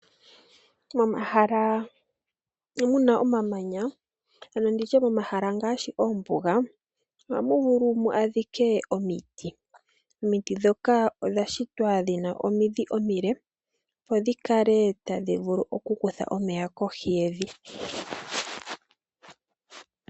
Momahala mu muna omamanya ano nditye momahala ngaashi moombuga ohamu vulu mu adhike omiti. Omiti dhoka odha shitwa dhi na omidhi omile opo dhi kale tadhi vulu okukutha omeya kohi yevi.